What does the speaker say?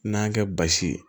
N'an y'a kɛ basi ye